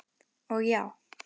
Og já.